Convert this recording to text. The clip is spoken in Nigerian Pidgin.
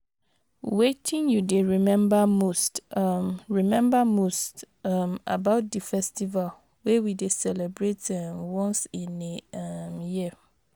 wetin you dey remember most um remember most um about di festival wey we dey celebrate um once in a um year?